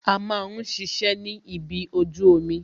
A máa ń ṣiṣẹ́ ni ibi ojú omi